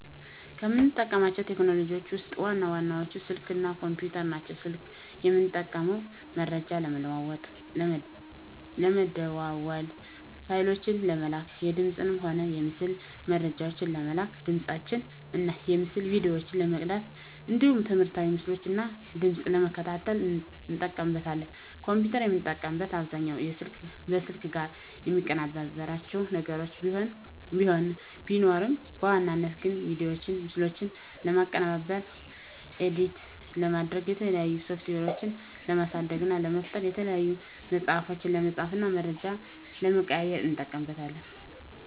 ከምጠቀማቸው ቴክኖሎጂዎችን ውስጥ ዋና ዋናዎቹ ስልክ እና ኮምፒተር ናቸው። ስልክን የምጠቀመው መረጃ ለመለዋዎጥ ለመደዋዎል፣ ፋይሎችን ለመላላክ፣ የድምፅንም ሆነ የምስል መረጃዎችን ለመላላክ፣ ድምፆችን እና የምስል ቪዲዮዎችን ለመቅዳት እንዲሁም ትምህርታዊ ምስሎችን እና ድምጾችን ለመከታተል እጠቀምበታለሁ። ኮምፒተርን የምጠቀምበት አብዛኛውን ከስልክ ጋር የሚቀራርባቸው ነገር ቢኖርም በዋናነት ግን ቪዲዮዎችና ምስሎችን ለማቀነባበር (ኤዲት) ለማድረግ፣ የተለያዩ ሶፍትዌሮችን ለማሳደግ እና ለመፍጠር፣ የተለያዩ ፅሁፎችን ለመፃፍ እና መረጃ ለመቀያየር ... እጠቀምበታለሁ።